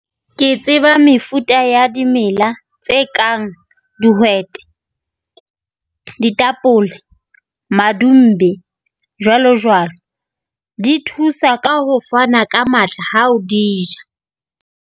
Ke tseba mefuta ya dimela tse kang dihwete, ditapole, madumbe jwalo jwalo. Di thusa ka ho fana ka matla ha o di ja.